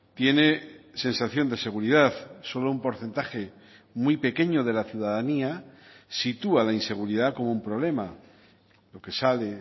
tiene sensación de seguridad solo un porcentaje muy pequeño de la ciudadanía sitúa la inseguridad como un problema lo que sale